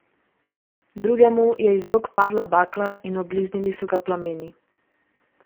Drugemu je iz rok padla bakla in obliznili so ga plameni.